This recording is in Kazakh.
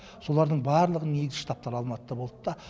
солардың барлығының негізгі штабтары алматыда болды та